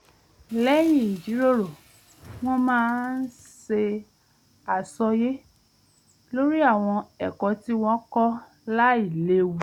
lẹ́yìn ìjìròrò wọ́n máa ń ṣe àsọyé lórí àwọn ẹ̀kọ́ tí wọ́n kọ́ láìléwu